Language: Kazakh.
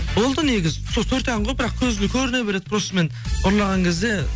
болды негізі сол төрт ән ғой бірақ көзге көріне береді просто мен ұрлаған кезде